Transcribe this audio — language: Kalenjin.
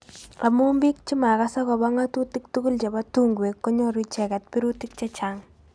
amu bik chemakas akobo ngatutik tugul chebo tungwek konyoru icheket birutik chechang.